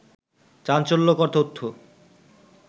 চাঞ্চল্যকর তথ্য